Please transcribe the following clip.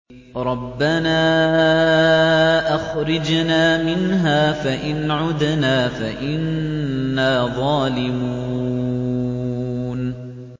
رَبَّنَا أَخْرِجْنَا مِنْهَا فَإِنْ عُدْنَا فَإِنَّا ظَالِمُونَ